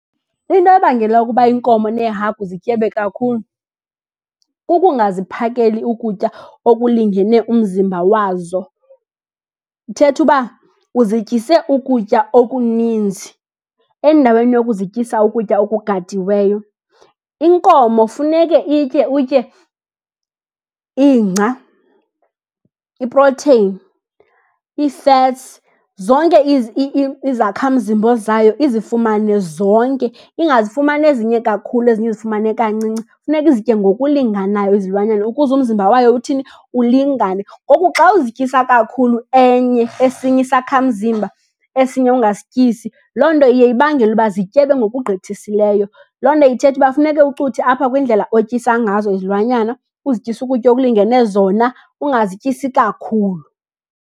Into ebangela ukuba iinkomo niehagu zityebe kakhulu, kukungaziphakeli ukutya okulingene umzimba wazo. Ithetha uba uzityise ukutya okuninzi endaweni yokuzityisa ukutya okugadiweyo. Inkomo funeke itye, utye ingca, iprotheyini, ii-fats, zonke izakhamzimba zayo izifumane zonke, ingazifumani ezinye kakhulu ezinye izifumane kancinci. Funeka izitye ngokulinganayo izilwanyana ukuze umzimba wayo uthini, ulingane. Ngoku xa uzityisa kakhulu enye, esinye isakhamzimba esinye ungasityisi, loo nto iye ibangele uba zityebe ngokugqithisileyo. Loo nto ithetha uba funeke ucuthe apha kwindlela otyisa ngazo izilwanyana, uzityise ukutya okulingene zona, ungazityisi kakhulu.